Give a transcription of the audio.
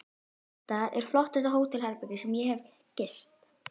Þetta er flottasta hótelherbergi sem ég hef gist.